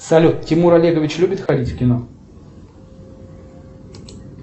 салют тимур олегович любит ходить в кино